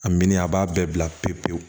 A min a b'a bɛɛ bila pewu pewu